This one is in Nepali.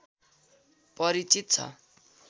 परिचित छ